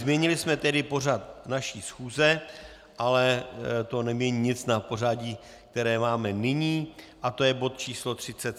Změnili jsme tedy pořad naší schůze, ale to nemění nic na pořadí, které máme nyní, a je to bod číslo